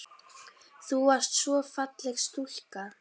Þú varst svo falleg stúlka.